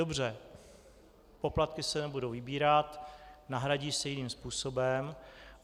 Dobře, poplatky se nebudou vybírat, nahradí se jiným způsobem.